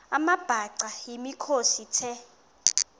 amabhaca yimikhosi the